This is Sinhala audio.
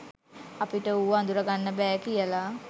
අපිට ඌව අඳුරගන්න බෑ කියල.